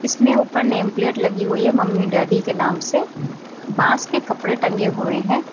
इसमें ऊपर name plate लगी हुई है मम्मी डैडी के नाम से पास में कपड़े टंगे हुए हैं।